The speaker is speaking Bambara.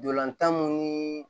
Ntolantan mun ni